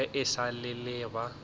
ge e sa le ba